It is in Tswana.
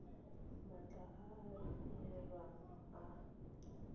matlha a a beilweng a